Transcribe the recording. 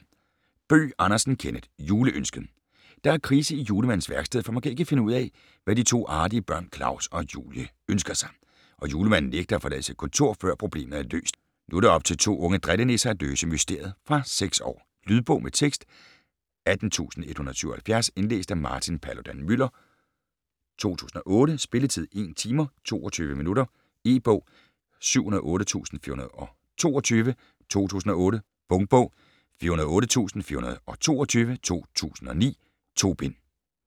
Bøgh Andersen, Kenneth: Juleønsket Der er krise i julemandens værksted, for man kan ikke finde ud af, hvad de to artige børn Klaus og Julie ønsker sig, og Julemanden nægter at forlade sit kontor, før problemet er løst. Nu er det op til to unge drillenisser at løse mysteriet. Fra 6 år. Lydbog med tekst 18177 Indlæst af Martin Paludan-Müller, 2008. Spilletid: 1 timer, 22 minutter. E-bog 708422 2008. Punktbog 408422 2009. 2 bind.